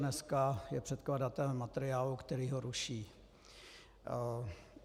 Dneska je předkladatelem materiálu, který ho ruší.